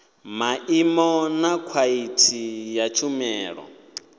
maimo na khwaḽithi ya tshumelo